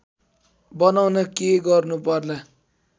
बनाउन के गर्नु पर्ला